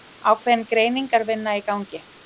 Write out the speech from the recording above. Ákveðin greiningarvinna í gangi